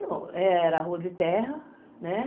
Não, era rua de terra, né?